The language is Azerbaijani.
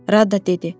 Radda dedi: